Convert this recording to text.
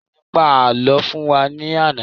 Ìyá mi pa àlọ́ fún wa ní àná